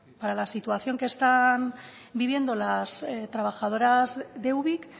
para la situación que están viviendo las trabajadoras de ubik